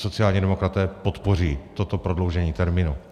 Sociální demokraté podpoří toto prodloužení termínu.